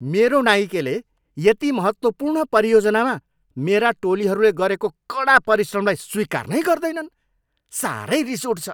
मेरो नाइकेले यति महत्त्वपूर्ण परियोजनामा मेरा टोलीहरूले गरेको कडा परिश्रमलाई स्वीकार नै गर्दैनन्। साह्रै रिस उठ्छ।